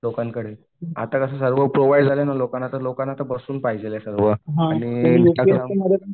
लोकांकडे आता कसं झालं फोन प्रोव्हाइड झालं ना लोकांना आता बसून पाहिजे आहे सगळं. आणि